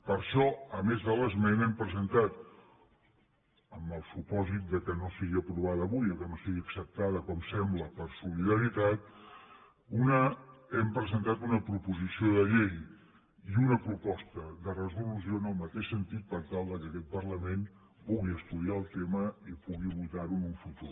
per això a més de l’esmena hem presentat amb el supòsit que no sigui aprovada avui o que no sigui acceptada com sembla per solidaritat una proposició de llei i una proposta de resolució en el mateix sentit per tal que aquest parlament pugui estudiar el tema i pugui votar ho en el futur